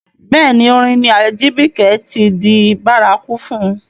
Bẹ́ẹ̀ ni, orin ni Ajibike ti di bárakú fún.